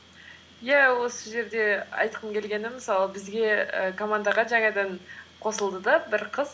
иә осы жерде айтқым келгені мысалы бізге і командаға жаңадан қосылды да бір қыз